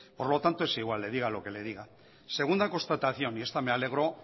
por lo tanto es igual diga lo que le diga segunda constatación y esta me alegro